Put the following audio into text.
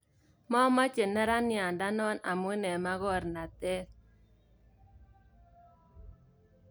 Momoche neraniat ndonon amun en makornatet.